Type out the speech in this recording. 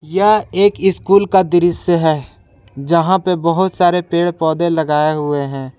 यह एक स्कूल का दृश्य है जहां पे बहुत सारे पेड़ पौधे लगाए हुए हैं।